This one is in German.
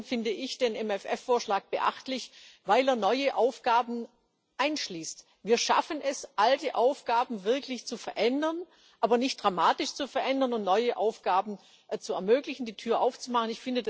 Zum einen finde ich den MFR Vorschlag beachtlich, weil er neue Aufgaben einschließt. Wir schaffen es, alte Aufgaben wirklich zu verändern, aber nicht dramatisch zu verändern, und neue Aufgaben zu ermöglichen, die Tür aufzumachen.